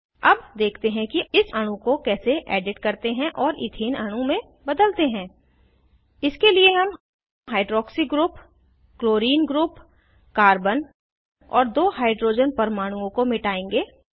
अब देखते हैं कि इस अणु को कैसे एडिट करते हैं और इथेन अणु में बदलते हैं इसके लिए हम hydroxy group chlorine group carbon और दो हाइड्रोजन परमाणुओं को मिटायेंगे